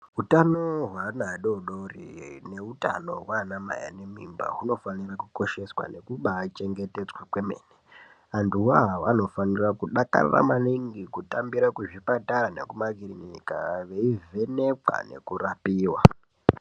Utano hwevana adodori neutano hwana mai vane mimba hunofanira kukosheswa kwemene nekuba chengetedzwa kwemene antu voavavo vanofanira kudakarira maningi kutambira kuzvipatara nekumakirinika veivhenekwa nekurapiwa.